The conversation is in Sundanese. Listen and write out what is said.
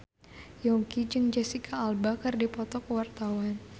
Yongki jeung Jesicca Alba keur dipoto ku wartawan